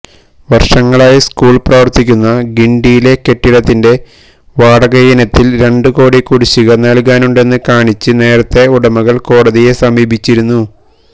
വര്ഷങ്ങളായി സ്കൂള് പ്രവര്ത്തിക്കുന്ന ഗിണ്ടിയിലെ കെട്ടിടത്തിന്റെ വാടകയിനത്തില് രണ്ട് കോടി കുടിശിക നല്കാനുണ്ടെന്ന് കാണിച്ച് നേരത്തെ ഉടമകള് കോടതിയെ സമീപിച്ചിരുന്നു